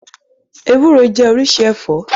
Ewúro jẹ́ oríṣi ẹ̀fọ́.